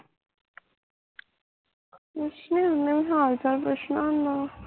ਕੁਸ਼ ਨੀ ਉਹਨੇ ਵੀ ਹਾਲ ਚਾਲ ਪੁੱਛਣਾ ਹੁੰਦਾ ਵਾਂ